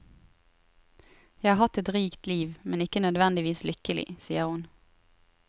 Jeg har hatt et rikt liv, men ikke nødvendigvis lykkelig, sier hun.